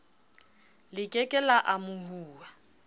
le ke ke la amohuwa